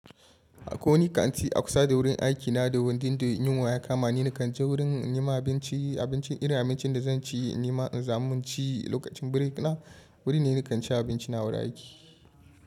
Koni kanti a kusa da wurin aiki na da wurin ɗin da in yinwa ya kama ni, nakan je wurin in nema abinci. Abincin irin abincin da zan ci, in nima in za munci lokacin break na. Wurin ne nikan ci abinci na wurin aiki.